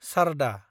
सारदा